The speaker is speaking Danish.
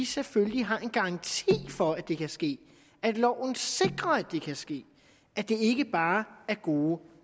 selvfølgelig har en garanti for at det kan ske at loven sikrer at det kan ske at det ikke bare er gode